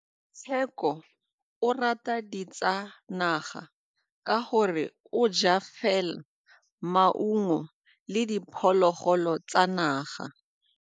Tshekô o rata ditsanaga ka gore o ja fela maungo le diphologolo tsa naga.